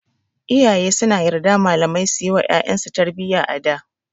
Iyaye suna yarda malamai suyi wa ƴaƴan su tarbiyya a da.